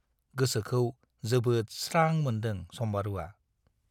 गोसोखौ जोबोद स्रां मोन्दों सम्बारुवा।